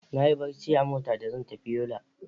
Nayi barci a mota da za zan tafi Yola.